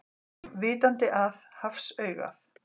Vitandi að hafsaugað.